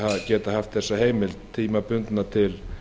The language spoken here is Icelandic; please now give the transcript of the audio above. geta haft þessa heimild tímabundna til